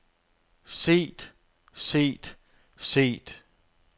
set set set